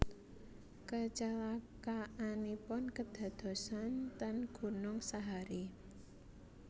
Kecelakaanipun kedadosan ten Gunung Sahari